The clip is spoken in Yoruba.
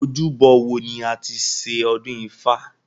Ojúbọ wo ni a ti ṣe ọdún ifá?